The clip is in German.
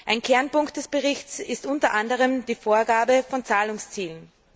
Ein Kernpunkt des Berichts ist unter anderem die Vorgabe von Zahlungszielen.